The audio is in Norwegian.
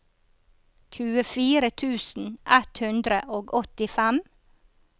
tjuefire tusen ett hundre og åttifem